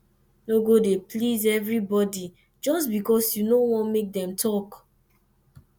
no go dey please evribodi jus bikos yu no want mek dem tok